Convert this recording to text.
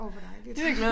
Åh hvor dejligt